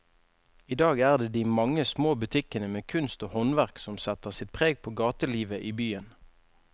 I dag er det de mange små butikkene med kunst og håndverk som setter sitt preg på gatelivet i byen.